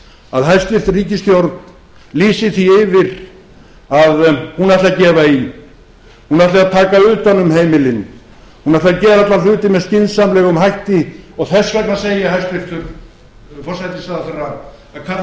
að hæstvirt ríkisstjórn lýsi því yfir að hún ætli að gefa í hún ætli að taka utan um heimilin hún ætli að gera alla hluti með skynsamlegum hætti og þess vegna segi ég hæstvirtan forsætisráðherra að kalla